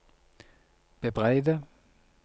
bebreide